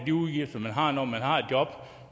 de udgifter man har når man har et job